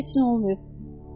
Hələ ki heç nə olmayıb.